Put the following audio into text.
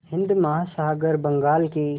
हिंद महासागर बंगाल की